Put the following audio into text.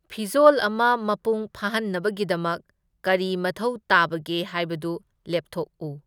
ꯐꯤꯖꯣꯜ ꯑꯃ ꯃꯄꯨꯡ ꯐꯥꯍꯟꯅꯕꯒꯤꯗꯃꯛ ꯀꯔꯤ ꯃꯊꯧ ꯇꯥꯕꯒꯦ ꯍꯥꯏꯕꯗꯨ ꯂꯦꯞꯊꯣꯛꯎ꯫